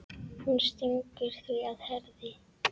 Hún stingur því að Herði